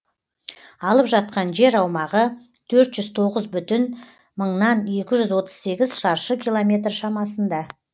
алып жатқан жер аумағы төрт жүз тоғыз бүтін мыңнан екі жүз отыз сегіз шаршы километр шамасында